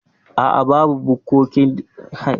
A'a, babu bukkokin laka a cikin gidan iyalina.